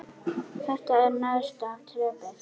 Þetta er neðsta þrepið.